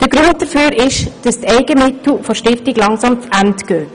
Der Grund dafür ist, dass die Eigenmittel der Stiftung langsam zu Ende gehen.